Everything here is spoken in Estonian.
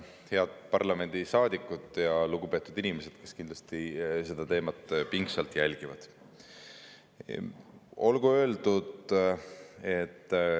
Head parlamendisaadikud ja lugupeetud inimesed, kes kindlasti seda teemat pingsalt jälgivad!